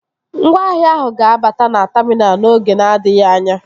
Ngwaahịa ahụ ga-abata na taminal n'oge na-adịghị anya